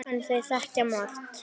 En þeir þekkja margt.